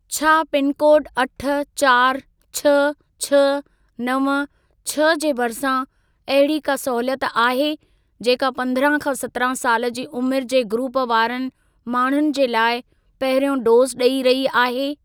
छा पिनकोड अठ, चारि, छ्ह, छ्ह, नव, छ्ह जे भरिसां अहिड़ी का सहूलियत आहे, जेका पंद्रहं खां सत्रहं साल जी उमिरि जे ग्रूप वारनि माण्हुनि जे लाइ पहिरियों डोज़ ॾेई रही आहे?